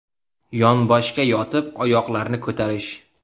Yonboshga yotib oyoqlarni ko‘tarish.